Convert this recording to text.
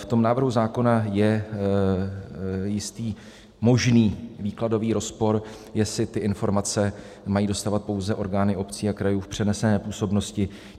V tom návrhu zákona je jistý možný výkladový rozpor, jestli ty informace mají dostávat pouze orgány obcí a krajů v přenesené působnosti.